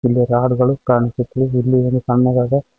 ಇಲ್ಲಿ ರಾಡುಗಳು ಕಾಣಿಸುತ್ತದೆ ಇಲ್ಲಿ ಏನು ಸಣ್ಣದಾದ--